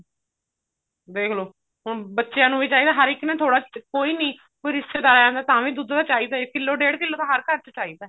ਦੇਖਲੋ ਹੁਣ ਬੱਚਿਆਂ ਨੂੰ ਵੀ ਚਾਹੀਦਾ ਹਰ ਇੱਕ ਨੂੰ ਥੋੜਾ ਕੋਈ ਵੀ ਕੋਈ ਰਿਸ਼ਤੇਦਾਰ ਆ ਜਾਂਦਾ ਤਾਂ ਵੀ ਦੁੱਧ ਤਾਂ ਚਾਹੀਦਾ ਕਿੱਲੋ ਡੇਡ ਕਿੱਲੋ ਤਾਂ ਹਰ ਘਰ ਚਾਹੀਦਾ